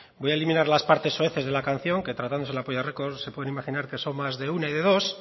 voy a eliminar las partes soeces de la canción que tratándose de la polla records se pueden imaginar que son más de una y de dos